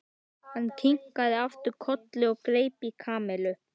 Hann kinkaði aftur kolli og greip í Kamillu.